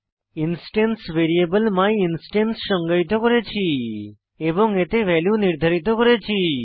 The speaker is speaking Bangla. ইনস্টেন্স ভ্যারিয়েবল মাইনস্ট্যান্স সংজ্ঞায়িত করেছি এবং এতে ভ্যালু নির্ধারিত করেছি